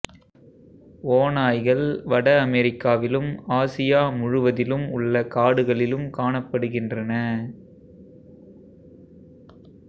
ஓநாய்கள் வட அமெரிக்காவிலும் ஆசியா முழுவதிலும் உள்ள காடுகளிலும் காணப்படுகின்றன